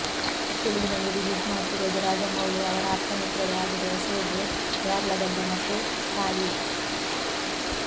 ತೆಲುಗಿನಲ್ಲಿ ರಿಲೀಸ್ ಮಾಡ್ತಿರೋದು ರಾಜಮೌಳಿ ಅವರ ಆಪ್ತಮಿತ್ರರೂ ಆಗಿರುವ ಶೋಭು ಯಾರ್ಲಗಡ್ಡ ಮತ್ತು ಸಾಯಿ